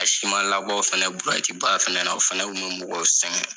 A labɔw fɛnɛ fɛnɛ na, o fɛnɛ kun bɛ mɔgɔw sɛgɛn.